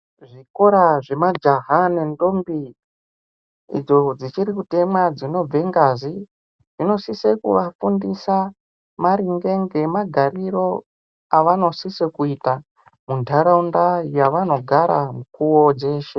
Zvikora zvemajaha nendombi idzo dzichiri kutemwa dzinobve ngazi zvinosise kuvafundisa maringe ngemagariro avanosise kuita mundaraunda yavanogara mukuwo dzeshe.